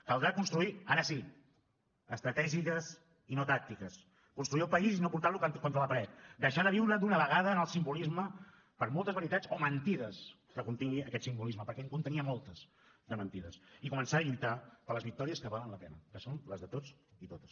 caldrà construir ara sí estratègies i no tàctiques construir el país i no portar lo contra la paret deixar de viure d’una vegada en el simbolisme per moltes veritats o mentides que contingui aquest simbolisme perquè en contenia moltes de mentides i començar a lluitar per les victòries que valen la pena que són les de tots i totes